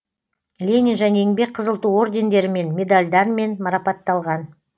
ленин және еңбек қызыл ту ордендерімен медальдармен марапатталған